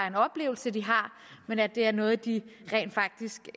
en oplevelse de har men at det er noget de rent faktisk